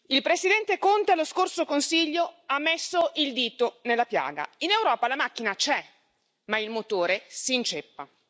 Il Presidente Conte allo scorso Consiglio ha messo il dito nella piaga in Europa la macchina c'è, ma il motore si inceppa.